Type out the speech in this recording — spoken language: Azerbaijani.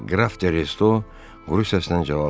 Qraf de Resto quru səslə cavab verdi.